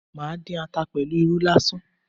Màá dín ata pẹ̀lú irú lásán